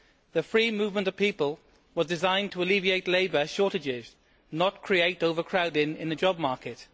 The free movement of people was designed to alleviate labour shortages, not create overcrowding in the job market.